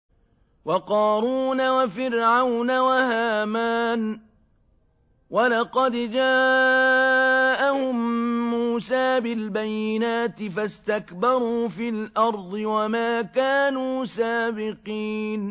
وَقَارُونَ وَفِرْعَوْنَ وَهَامَانَ ۖ وَلَقَدْ جَاءَهُم مُّوسَىٰ بِالْبَيِّنَاتِ فَاسْتَكْبَرُوا فِي الْأَرْضِ وَمَا كَانُوا سَابِقِينَ